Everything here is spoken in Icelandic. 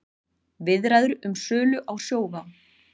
Viðræður um sölu á Sjóvá